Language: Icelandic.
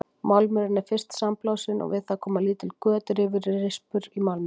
Málmurinn er fyrst sandblásinn og við það koma lítil göt, rifur og rispur í málminn.